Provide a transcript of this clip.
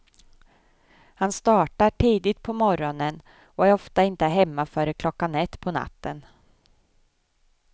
Han startar tidigt på morgonen och är ofta inte hemma före klockan ett på natten.